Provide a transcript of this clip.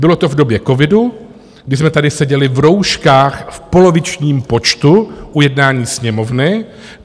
Bylo to v době covidu, kdy jsme tady seděli v rouškách v polovičním počtu u jednání Sněmovny.